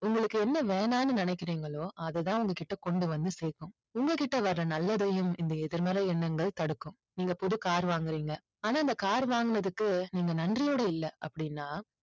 உங்களுக்கு என்ன வேணாம்னு நினைக்கிறீர்களோ அதுதான் உங்க கிட்ட கொண்டு வந்து சேக்கும் உங்க கிட்ட வர நல்லதையும் இந்த எதிர்மறை எண்ணங்கள் தடுக்கும். நீங்க புது car வாங்குறீங்க ஆனா அந்த car வாங்குனதுக்கு நீங்க நன்றியோடு இல்ல அப்படின்னா